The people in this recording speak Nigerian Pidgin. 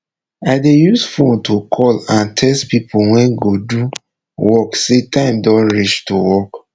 i dey use fone to call and txt pipo wey go do work say time don reach to work